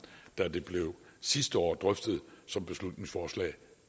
da det sidste år blev drøftet som beslutningsforslag